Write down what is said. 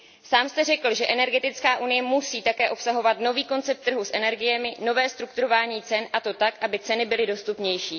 Sám jste řekl, že energetická unie musí také obsahovat nový koncept trhu s energiemi, nové strukturování cen, a to tak, aby ceny byly dostupnější.